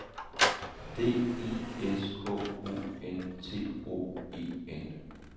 D I S K O N T O E N